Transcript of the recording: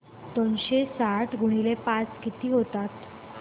दोनशे साठ गुणिले पाच किती होतात